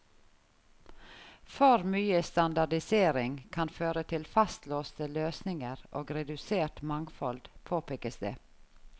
For mye standardisering kan føre til fastlåste løsninger og redusert mangfold, påpekes det.